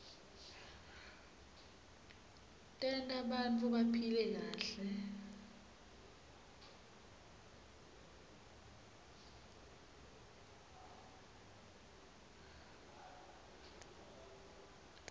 tenta bantfu baphile kahle